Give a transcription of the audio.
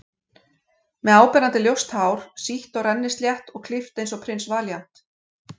Með áberandi ljóst hár, sítt og rennislétt, og klippt eins og Prins Valíant.